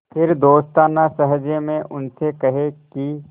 फिर दोस्ताना लहजे में उनसे कहें कि